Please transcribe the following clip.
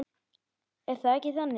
Er það ekki þannig?